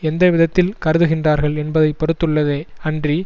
எந்த விதத்தில் கருதுகின்றார்கள் என்பதை பொறுத்துள்ளதே அன்றி